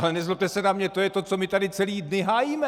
Ale nezlobte se na mě, to je to, co my tady celé dny hájíme.